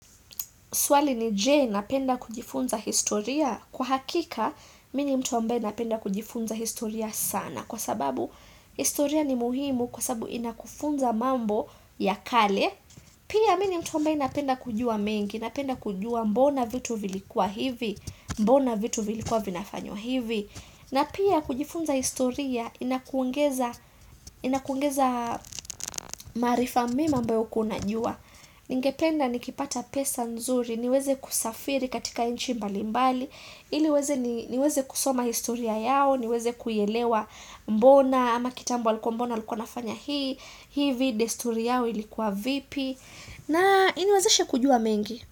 Swali ni je napenda kujifunza historia. Kwa hakika, mi ni mtu ambae napenda kujifunza historia sana. Kwa sababu, historia ni muhimu kwa sababu inakufunza mambo ya kale. Pia mi ni mtu ambae napenda kujua mengi. Napenda kujua mbona vitu vilikuwa hivi. Mbona vitu vilikuwa vinafanyo hivi. Na pia kujifunza historia, inakuongeza maarifa mema ambao hukua unajua. Ningependa nikipata pesa nzuri niweze kusafiri katika inchi mbalimbali ili weze niweze kusoma historia yao niweze kuielewa mbona ama kitambo alikuwa mbona alikuwa wanafanya hii hivi desturi yao ilikuwa vipi na iniwezeshe kujua mengi.